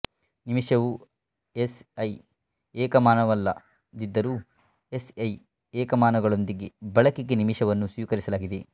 ನಿಮಿಷವು SI ಏಕಮಾನವಲ್ಲದಿದ್ದರೂ SI ಏಕಮಾನಗಳೊಂದಿಗೆ ಬಳಕೆಗೆ ನಿಮಿಷವನ್ನು ಸ್ವೀಕರಿಸಲಾಗಿದೆ